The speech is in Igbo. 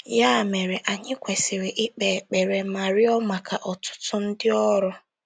Ya mere, anyị kwesịrị ikpe ekpere ma rịọ maka ọtụtụ ndị ọrụ.